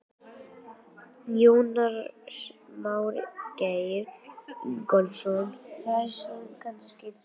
Jónas Margeir Ingólfsson: Hræðslan kannski hrífur með sér?